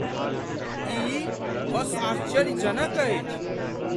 ई बस आश्चर्यजनक अछि!